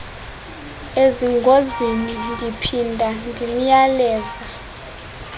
ezingozini ndiphinda ndimyaleza